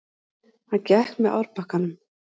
Hann gekk með árbakkanum.